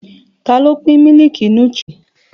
Ta ló pín mílìkì nútírì?